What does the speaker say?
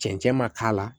Cɛncɛn ma k'a la